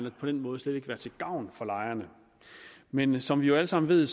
og på den måde slet ikke være til gavn for lejerne men som vi jo alle sammen ved